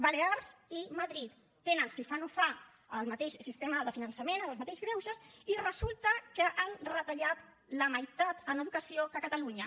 balears i madrid tenen si fa o no fa el mateix sistema de finançament amb els mateixos greuges i resulta que han retallat la meitat en educació que a catalunya